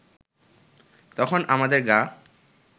তখন আমাদের গা